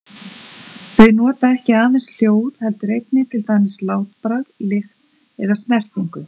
Þau nota ekki aðeins hljóð heldur einnig til dæmis látbragð, lykt eða snertingu.